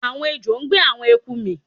Àwọn ejò ń gbé àwọn eku mì